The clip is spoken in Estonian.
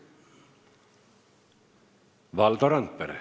Valdo Randpere.